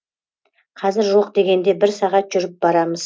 қазір жоқ дегенде бір сағат жүріп барамыз